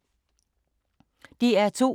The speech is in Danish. DR2